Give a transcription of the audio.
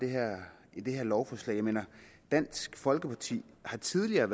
her lovforslag jeg mener at dansk folkeparti tidligere